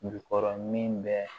Jukɔrɔ min bɛ